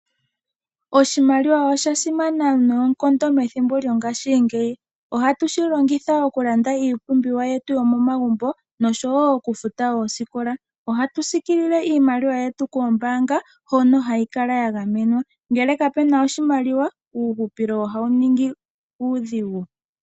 Oshimaliwa osha simana methimbo lyongashingeyi. Ohatu shi longitha oku landa iipumbiwa yetu yo momagumbo osho wo oku futa ooskola. Ohatu sikilile iimaliwa yetu koombanga, hono hayi kala ya gamwe, nongele kuna oshimaliwa, uuhupilo ohawu ningi uudhigu.